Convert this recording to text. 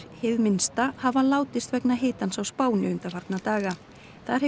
hið minnsta hafa látist vegna hitans á Spáni undanfarna daga þar hefur